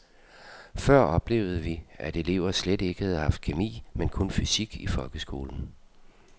Før oplevede vi, at elever slet ikke havde haft kemi men kun fysik i folkeskolen.